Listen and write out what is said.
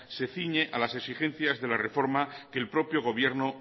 se ciñe a las exigencias de la reforma que el propio gobierno